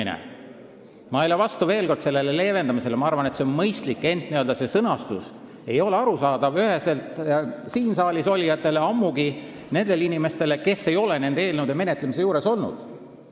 Veel kord: ma ei ole vastu sellele leevendamisele ja arvan, et see on mõistlik, ent see sõnastus ei ole üheselt arusaadav ka siin saalis olijatele, ammugi siis mitte nendele inimestele, kes ei ole nende eelnõude menetlemise juures olnud.